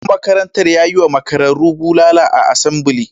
Shugaban makarantar ya yi wa makararru bulala a asambili.